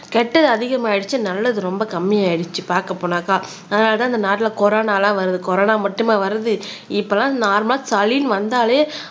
கெட்டது அதிகமாயிடுச்சு நல்லது ரொம்ப கம்மி ஆயிடுச்சு பாக்க போனாக்கா அதனாலதான் இந்த நாட்டுல கொரோனாலாம் வருது கொரோனா மட்டுமா வருது இப்பல்லாம் நார்மலா சளின்னு வந்தாலே